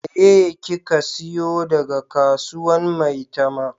Meye ki ka siyo daga kasuwan maitama?